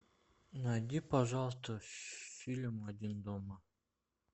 найди пожалуйста фильм один дома